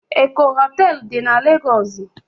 Eko hotelu di na Legosi